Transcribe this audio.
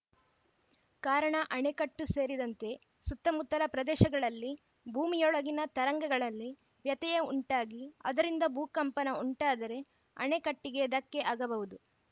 ಕಾರಣ ಅಣೆಕಟ್ಟು ಸೇರಿದಂತೆ ಸುತ್ತಮುತ್ತಲ ಪ್ರದೇಶಗಳಲ್ಲಿ ಭೂಮಿಯೊಳಗಿನ ತರಂಗಗಳಲ್ಲಿ ವ್ಯತ್ಯಯ ಉಂಟಾಗಿ ಅದರಿಂದ ಭೂ ಕಂಪನ ಉಂಟಾದರೆ ಅಣೆಕಟ್ಟಿಗೆ ಧಕ್ಕೆ ಆಗಬಹುದು